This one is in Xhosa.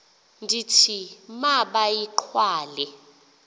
ndithi ma bayigqale